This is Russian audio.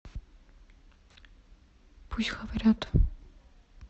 пусть говорят